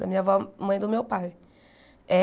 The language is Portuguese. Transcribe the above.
Da minha avó, mãe do meu pai.